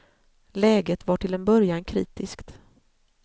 Läget var till en början kritiskt.